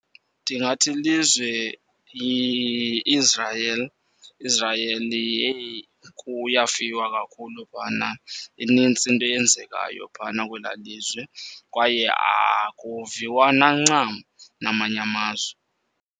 Ndingathi ilizwe i-Israel. Israel yheyi kuyafiwa kakhulu phana. Inintsi into eyenzekayo phana kwelaa lizwe kwaye akuviwana ncam namanye amazwe.